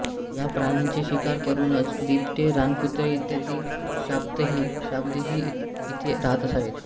ह्या प्राण्यांची शिकार करूनच बिबटे रानकुत्रे इत्यादी श्वापदेही इथे राहत असावेत